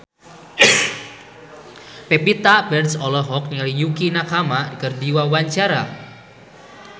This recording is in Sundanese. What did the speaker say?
Pevita Pearce olohok ningali Yukie Nakama keur diwawancara